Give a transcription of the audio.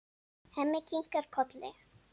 Hemmi kinkar kolli.